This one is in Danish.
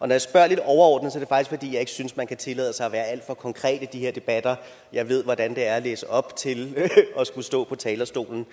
jeg spørger lidt overordnet er fordi jeg ikke synes man kan tillade sig at være alt for konkret i de her debatter jeg ved hvordan det er at læse op til at skulle stå på talerstolen